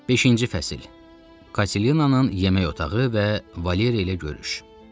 Beşinci fəsil Katelininanının yemək otağı və Valeriya ilə görüş.